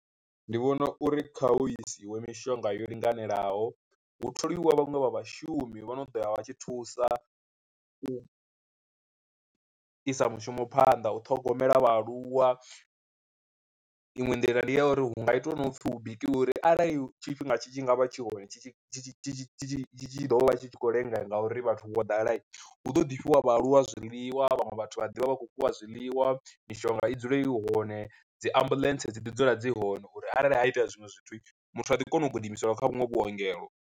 Ndi vhona uri kha hu isiwe mishonga yo linganelaho, hu tholiwa vhaṅwe vha vhashumi vho no ḓo ya vha tshi thusa u isa mushumo phanḓa u ṱhogomela vhaaluwa. Iṅwe nḓila ndi ya uri hu nga itwa nopfhi hu bikiwe uri arali tshifhinga tshi tshi ngavha tshi hone tshi tshi tshi tshi tshi ḓo vha tshi khou lenga ngauri vhathu vho ḓala, hu ḓo ḓi fhiwa vhaaluwa zwiḽiwa vhaṅwe vhathu vha ḓovha vha kho fhiwa zwiḽiwa, mishonga i dzule i hone, dzi ambuḽentse dzi ḓi dzula dzi hone uri arali ha itea zwiṅwe zwithu muthu a ḓi kona u gidimiseliwa kha vhuṅwe vhuongelo.